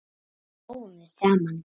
Svo hlógum við saman.